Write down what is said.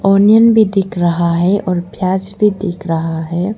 Onion भी दिख रहा है और प्याज भी दिख रहा है।